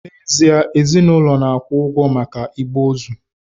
N'ezie, ezinụlọ na-akwụ ụgwọ maka igbe ozu